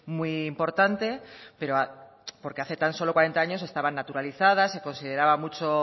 muy importante pero porque hace tan solo cuarenta años estaban naturalizadas se consideraba mucho